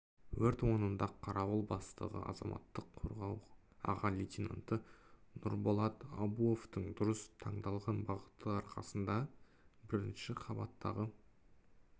өрт орнында қарауыл бастығы азаматтық қорғау аға лейтенанты нұрболат абуовтың дұрыс таңдалған бағыты арқасында бірінші қабаттағы